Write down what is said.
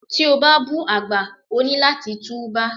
Tí o bá bú àgbà, o ní láti tú bá.